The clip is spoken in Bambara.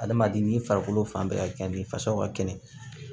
Adamaden ni farikolo fan bɛɛ ka kɛ ni fasaw ka kɛnɛ